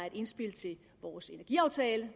et indspil til vores energiaftale